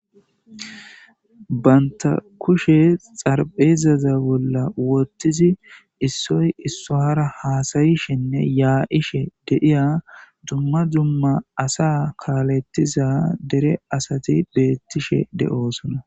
Baynta kushe xarbeezaza bolla wottizi issoy issohara haasayishenne yaa'she deiya dumma dumma asa kaalettiza dere asati beettishe deo'sosona.